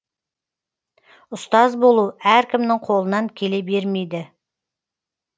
ұстаз болу әркімнің қолынан келе бермейді